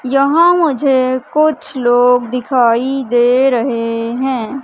यहां मुझे कुछ लोग दिखाई दे रहे हैं।